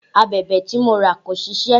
Abẹ̀bẹ̀ tí mo rà kò ṣisẹ́